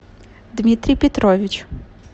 дмитрий петрович